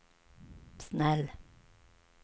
snäll